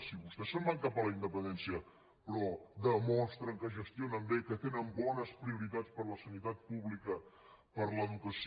si vostès se’n van cap a la independència però demostren que gestionen bé que tenen bones prioritats per la sanitat pública per l’educació